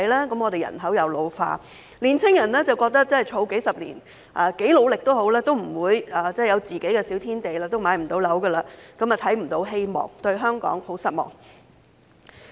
香港人口老化，但年青人即使儲蓄數十年，不管多努力也不會擁有自己的小天地，買樓不成，也看不到希望，更對香港十分失望。